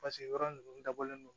yɔrɔ ninnu dabɔlen do